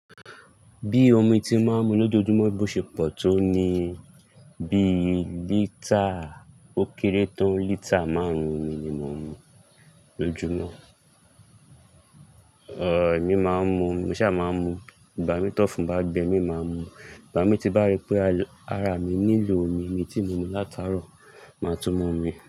Bí omi tí mo máa ń mu lójoojúmọ́ bí ó ṣe pọ̀ tó ni bí lítà ó kéré tó lítà márùn-ún omi ni mo ń mu lójúmọ́. Òóò, èmi máa ń mu, mí ṣà máa ń mu, igba mi tọ́ fún bá gbe, mi máa mu. Igba mi ti bá rí pé ara mi nílò omi mi tí mu mi látàárọ̀, máa tún mú mi.